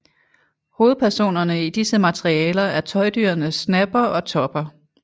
Hovedpersonerne i disse materialer er tøjdyrene Snapper og Topper